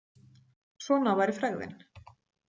Svona væri frægðin.